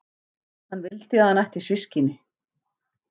Hvað hann vildi að hann ætti systkini.